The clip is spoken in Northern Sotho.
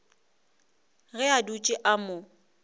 ge a dutše a mo